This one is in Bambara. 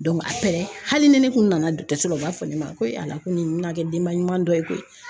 hali ni ne kun nana dɔgɔtɔrɔso la u b'a fɔ ne ma ko ko nin bɛna kɛ denba ɲuman dɔ ye